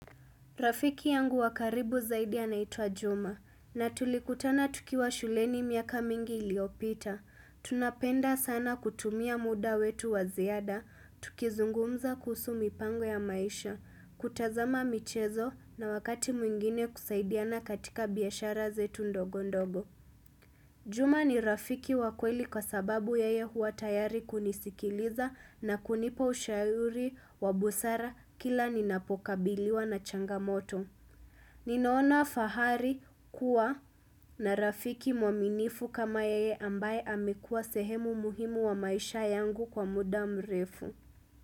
Rafiki yangu wa karibu zaidi anaitwa Juma, na tulikutana tukiwa shuleni miaka mingi iliyopita. Tunapenda sana kutumia muda wetu wa ziada, tukizungumza kuhusu mipango ya maisha, kutazama michezo na wakati mwingine kusaidiana katika biashara zetu ndogo ndogo. Juma ni Rafiki wa kweli kwa sababu yeye huwa tayari kunisikiliza na kunipa ushauri wa busara kila ninapokabiliwa na changamoto. Ninaona fahari kuwa na Rafiki mwaminifu kama yeye ambaye amekuwa sehemu muhimu wa maisha yangu kwa muda mrefu.